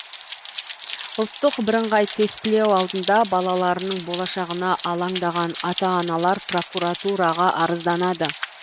ұлттық бірыңғай тестілеу алдында балаларының болашағына алаңдаған ата аналар прокуратураға арызданады